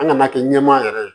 An ŋana kɛ ɲɛmaa yɛrɛ ye